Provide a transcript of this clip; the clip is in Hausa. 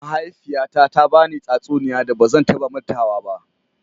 Mahaifiyyata ta ba ni tatsuniyan da ba zan ta ba matawa ba.